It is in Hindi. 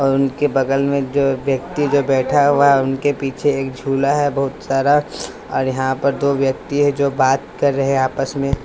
और उनके बगल में जो व्यक्ति जो बैठा हुआ है उनके पीछे एक झूला है बहुत सारा और यहाँ पर दो व्यक्ति है जो बात कर रहे हैं आपस में।